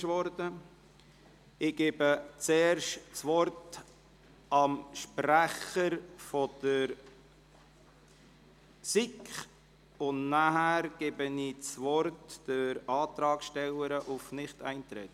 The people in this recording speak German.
Ich gebe das Wort zuerst dem Sprecher der SiK und danach der Antragstellerin zur Begründung des Nichteintretensantrags.